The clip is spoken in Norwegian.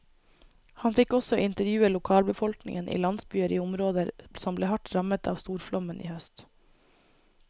Han fikk også intervjue lokalbefolkningen i landsbyer i områder som ble hardt rammet av storflommen i høst.